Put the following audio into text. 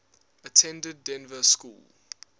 attended dynevor school